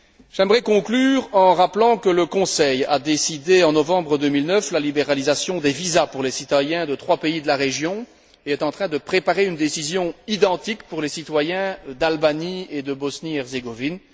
J'aimerais conclure en rappelant que le Conseil a décidé, en novembre 2009, la libéralisation des visas pour les citoyens de trois pays de la région et est en train de préparer une décision identique pour les citoyens d'Albanie et de Bosnie et Herzégovine.